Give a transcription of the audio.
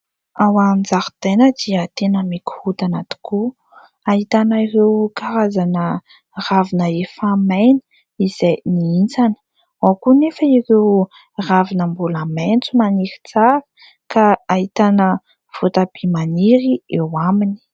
Ao an-jaridaina dia tena mikorontana tokoa, ahitana ireo karazana ravina efa maina izay mihintsana. Ao koa anefa ireo ravina mbola maitso maniry tsara ka ahitana votabia maniry eo aminy.